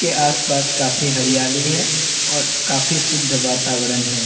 के आस-पास काफी हरियाली है और काफी शुद्ध वातावरण है।